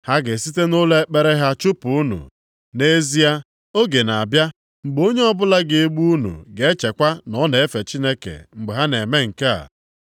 Ha ga-esite nʼụlọ ekpere ha chụpụ unu. Nʼezie, oge na-abịa mgbe onye ọbụla ga-egbu unu ga-echekwa na ọ na-efe Chineke mgbe ha na-eme nke a.